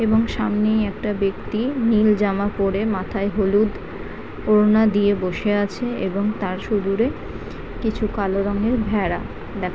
এবং সামনেই একটা ব্যক্তি নীল জামা পড়ে মাথায় হলুদ ওড়না দিয়ে বসে আছে এবং তার সুদূরে কিছু কালো রঙের ভেড়া দেখা --